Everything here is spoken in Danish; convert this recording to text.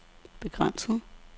begrænset